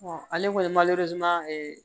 ale kɔni ye